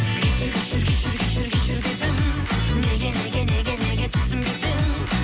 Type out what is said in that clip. кешір кешір кешір кешір кешір дедім неге неге неге неге түсінбедің